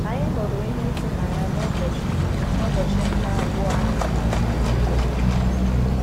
Anyị hụrụ ihe dị ịtụnanya n’ụbọchị n’ụbọchị nke abụọ anyị na Naịjirịa.